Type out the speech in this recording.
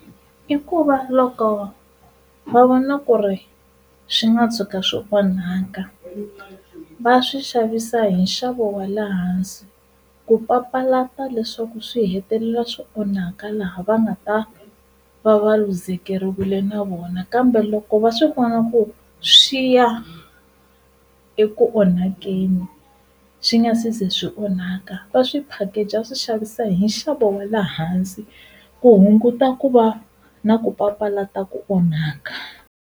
I ku va loko va vona ku ri swi nga tshuka swi onhaka va swi xavisa hi nxavo wa le hansi ku papalata leswaku swi hetelela swi onhaka laha va nga ta va va luzekeriwile na vona, kambe loko va swi vona ku swi ya eku onhakeni swi nga se za swi onhaka va swi package va swi xavisa hi nxavo wa le hansi ku hunguta ku va na ku papalata ku onhaka.